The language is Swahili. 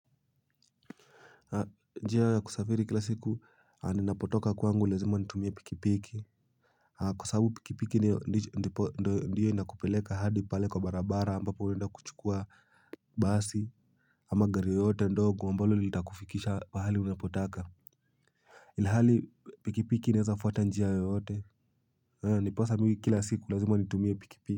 Njia ya kusafiri kila siku ninapotoka kwangu lazima nitumie pikipiki. Kwa sababu pikipiki ndio ndio inakupeleka hadi pale kwa barabara ambapo unaenda kuchukua basi. Ama gari yoyote ndogo ambalo litakufikisha pahali unapotaka ilahali pikipiki inaezafuata njia yoyote. Ndiposa mimi kila siku lazima nitumie pikipiki.